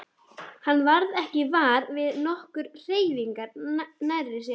Hann varð ekki var við nokkra hreyfingu nærri sér.